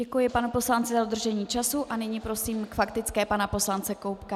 Děkuji panu poslanci za dodržení času a nyní prosím k faktické pana poslance Koubka.